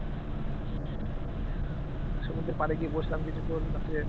সমুদ্রের পাড়ে গিয়ে বসলাম কিছুক্ষণ রাত্রে